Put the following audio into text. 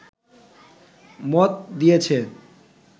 মত দিয়েছে